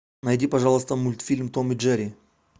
найди пожалуйста мультфильм том и джерри